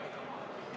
Hea istungi juhataja!